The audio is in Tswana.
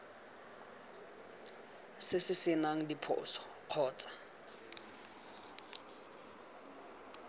se se senang diphoso kgotsa